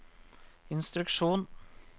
instruksjon